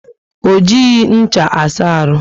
O jighi ncha asa aru